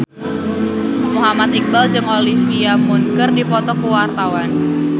Muhammad Iqbal jeung Olivia Munn keur dipoto ku wartawan